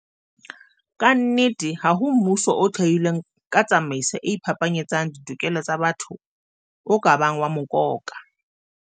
Ka nnete, ha ho mmuso o thehilweng ka tsamaiso e iphapanyetsang ditokelo tsa batho o ka bang wa mokoka.